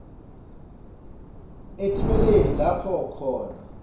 etimeni lapho khona